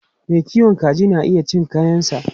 Mai kiwon kaji na iya cin kayansa.